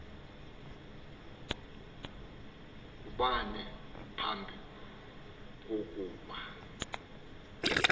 kubani phambi kokuba